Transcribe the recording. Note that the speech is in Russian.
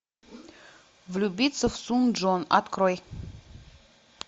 влюбиться в сун чжон открой